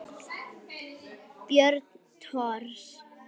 Björn Thors.